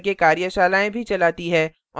spoken tutorials का उपयोग करके कार्यशालाएँ भी चलाती है